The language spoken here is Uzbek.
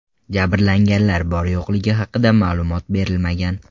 Jabrlanganlar bor-yo‘qligi haqida ma’lumot berilmagan.